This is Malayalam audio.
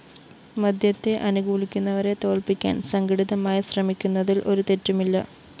മദ്യത്തെ അനുകൂലിക്കുന്നവരെ തോല്‍പിക്കാന്‍ സംഘടിതമായി ശ്രമിക്കുന്നതില്‍ ഒരു തെറ്റുമില്ല